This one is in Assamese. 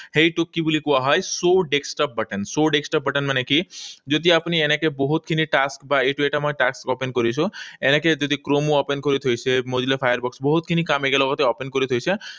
সেইটোক কি বুলি কোৱা হয়? Show desktop button. Show desktop button মানে কি? যদি আপুনি এনেকৈ বহুতখিনি task, বা এইটো এটা মই task open কৰিছো। এনেকৈ যদি chrome open কৰি থৈছোঁ, এই mozilla Firefox বহুতখিনি কাম একেলগতে open কৰি থৈছা,